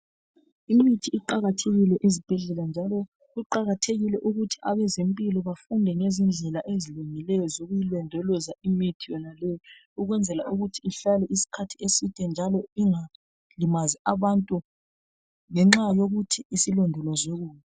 Imithi iqakathekile ezibhedlela njalo kuqakathekile ukuthi abezempilo bafunde ngezindlela ezilungileyo zokuyilondoloza imithi yonaleyo ukwenzela ukuthi ihlale isikhathi eside njalo ingalimazi abantu ngenxa yokuthi isilondolozwe kubi.